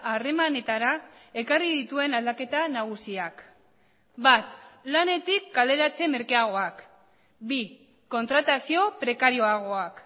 harremanetara ekarri dituen aldaketa nagusiak bat lanetik kaleratze merkeagoak bi kontratazio prekarioagoak